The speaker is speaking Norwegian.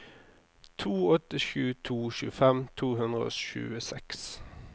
to åtte sju to tjuefem to hundre og tjueseks